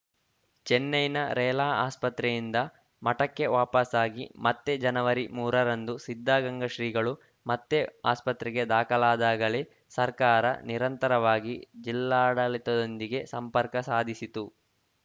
ಚೆನ್ನೈನ ರೆಲಾ ಆಸ್ಪತ್ರೆಯಿಂದ ಮಠಕ್ಕೆ ವಾಪಸಾಗಿ ಮತ್ತೆ ಜನವರಿ ಮೂರರಂದು ಸಿದ್ಧಗಂಗಾ ಶ್ರೀಗಳು ಮತ್ತೆ ಆಸ್ಪತ್ರೆಗೆ ದಾಖಲಾದಾಗಲೇ ಸರ್ಕಾರ ನಿರಂತರವಾಗಿ ಜಿಲ್ಲಾಡಳಿತದೊಂದಿಗೆ ಸಂಪರ್ಕ ಸಾಧಿಸಿತ್ತು